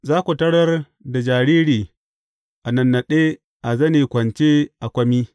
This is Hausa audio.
Za ku tarar da jariri a nannaɗe a zane kwance a kwami.